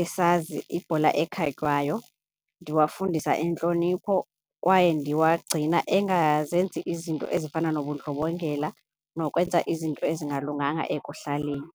esazi ibhola ekhatywayo. Ndiwafundisa intlonipho kwaye ndiwagcina angazenzi izinto ezifana nobundlobongela nokwenza izinto ezingalunganga ekuhlaleni.